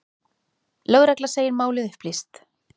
Lögregla segir málið upplýst.